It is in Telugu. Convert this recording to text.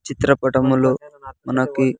చిత్రపటములో మనకి.